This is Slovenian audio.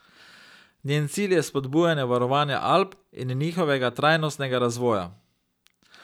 Njen cilj je spodbujanje varovanja Alp in njihovega trajnostnega razvoja.